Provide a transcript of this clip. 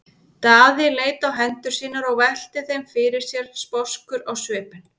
Daði leit á hendur sínar og velti þeim fyrir sér sposkur á svipinn.